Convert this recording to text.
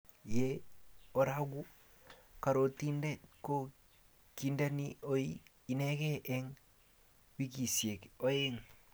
ye aroku karotinde ko kindeni oi inegei eng' wikisiek oeng'